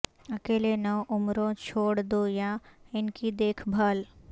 اکیلے نوعمروں چھوڑ دو یا ان کی دیکھ بھال